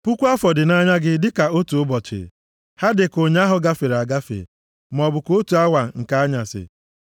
Puku afọ dị nʼanya gị dịka otu ụbọchị; ha dịka ụnyaahụ gafere agafe maọbụ ka otu awa nke anyasị. + 90:4 \+xt 2Pt 3:8\+xt*